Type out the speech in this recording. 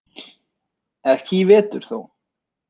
Ekki í vetur þó.